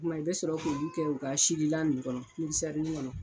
kuma i bɛ sɔrɔ k'ulu kɛ u ka sililan ni kɔnɔ mikisɛrinin kɔnɔ.